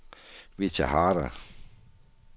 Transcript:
Vita Harder